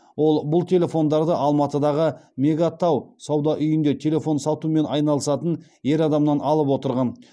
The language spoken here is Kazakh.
ол бұл телефондарды алматыдағы мега тау сауда үйінде телефон сатумен айналысатын ер адамнан алып отырған